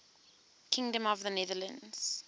kingdom of the netherlands